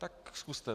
Tak zkuste.